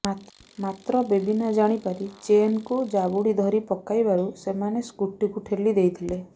ମାତ୍ର ବେବିନା ଜାଣିପାରି ଚେନ୍କୁ ଜାବୁଡ଼ି ଧରି ପକାଇବାରୁ ସେମାନେ ସ୍କୁଟିକୁ ଠେଲି ଦେଇଥିଲେ